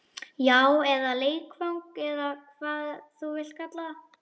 Já, eða leikfang eða hvað þú vilt kalla það.